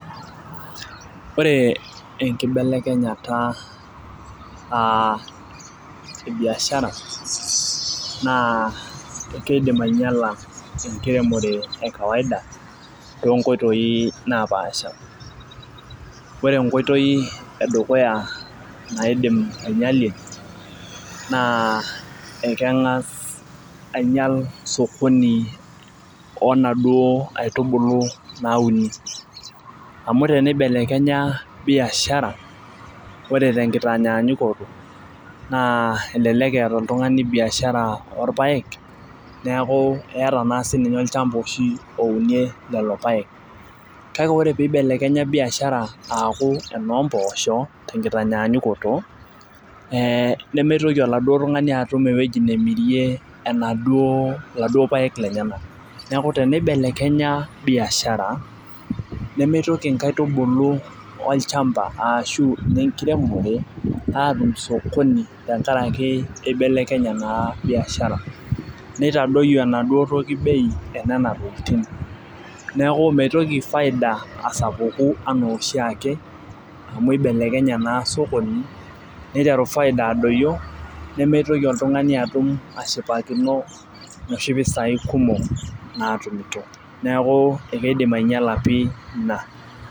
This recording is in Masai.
Ore enkibelekenyata aa ebiashara naa kidim aingiala enkiremore e kawaida, too nkoitoi napaasha. ore enkoitoi edukuya naaidim aingialie naa ekengas aing'iel sokoni oo naduoo aitubulu nauni. amu teneibelekenya biashara. ore tenkitanyaanyukoto. naa elelek eeta oltungani biashara oorpaek neeku keeta naa sii ninye olchampa oshi, ounie lelo paek. kale ore pee eibelekenya biashara aaku enoo mpoosho te nkitanyaanyukoto ee nemeitoki oladuoo tungani atum ewueji nemirie enaduoo paek lenyenak. neeku teneibelekenya biashara, nemeitoki inkaitubulu olchampa aashu enkiremore aatum sokoni tenkaraki ibelekenye naa biashara. nitadoyio enaduoo toki bei enema tokitin. neeku mitoki faida asapuku. anaa oshiake amu ibelekenye naa sokoni. niteru faida adoyio ,nemeitoki oltungani ashipakino, inoshi pisai kumok naatumito. neeku ekeidim aingiala pii Ina.